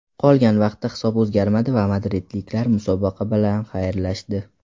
Qolgan vaqtda hisob o‘zgarmadi va madridliklar musobaqa bilan xayrlashdi.